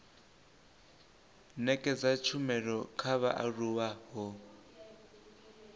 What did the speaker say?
nekedza tshumelo kha vhaaluwa ho